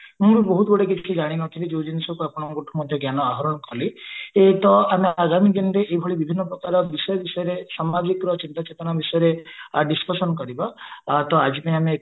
ମୁଁ ବହୁତ ଗୁଡା ଜିନିଷ ଜାଣି ନଥିଲି ଆପଣଙ୍କ ଥୁ ମଧ୍ୟ ଜ୍ଞାନ ଆହୋରଣ କଲି ଏ ତ ଆଗାମୀ ଦିନରେ ଆମେ ଏଇ ଭଳିଆ ବିଷୟରେ ସମାଜିକର ଚିନ୍ତା ଚେତନା ବିଷୟରେ discussion କରିବା ତ ଆଜି ପାଇଁ ଆମେ